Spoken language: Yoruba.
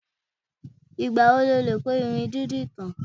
Ìgbà wo lo lè kọ́ irun dídì tán?